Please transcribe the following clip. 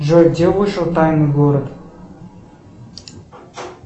джой где вышел тайный город